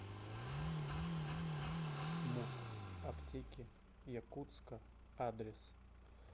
муп аптеки якутска адрес